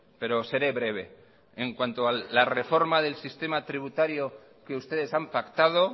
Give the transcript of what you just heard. pero seré breve en cuanto a la reforma del sistema tributario que ustedes han pactado